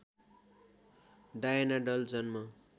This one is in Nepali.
डायना डल जन्म